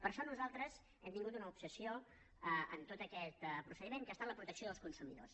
per això nosaltres hem tingut una obsessió en tot aquest procediment que ha estat la protecció dels consumidors